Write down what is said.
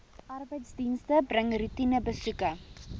arbeidsdienste bring roetinebesoeke